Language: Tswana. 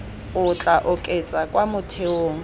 o tla oketsa kwa motheong